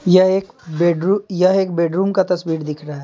यह एक बेडरूम यह एक बेडरूम का तस्वीर दिख रहा है।